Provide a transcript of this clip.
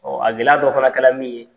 a gɛlɛya dɔ fana kɛla min ye